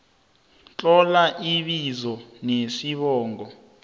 tlola ibizo nesibongo